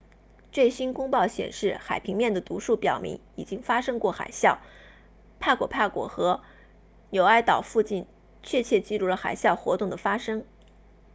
最新公报显示海平面的读数表明已经发生过海啸帕果帕果和纽埃岛附近确切记录了海啸活动的发生